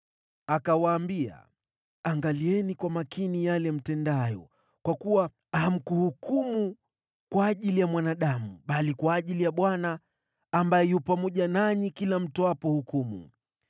Akawaambia, “Angalieni kwa makini yale mtendayo, kwa kuwa hamkuhukumu kwa ajili ya mwanadamu bali kwa ajili ya Bwana ambaye yu pamoja nanyi kila mtoapo hukumu.